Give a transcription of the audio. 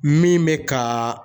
Min bɛ ka